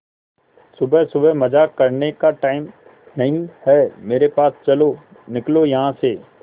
सुबह सुबह मजाक करने का टाइम नहीं है मेरे पास चलो निकलो यहां से